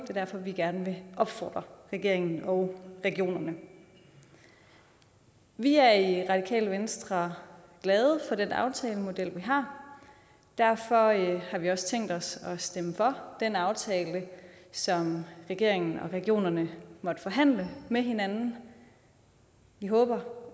er derfor vi gerne vil opfordre regeringen og regionerne vi er i radikale venstre glade for den aftalemodel vi har derfor har vi også tænkt os at stemme for den aftale som regeringen og regionerne måtte forhandle med hinanden vi håber